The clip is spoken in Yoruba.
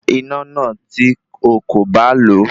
Pa iná náà tí okò bá lo